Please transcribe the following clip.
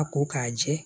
A ko k'a jɛ